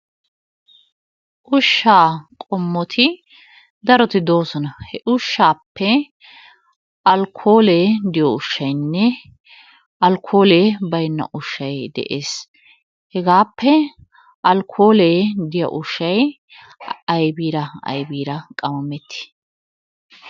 Ushshaa qommoti daroti de'oosona. He ushshaappe alkkoole de'iyo ushshaynne alkkoolee baynna ushshay de'ees. Hegaappe alkkoolee diya ushshay aybiira aybiira qammameti?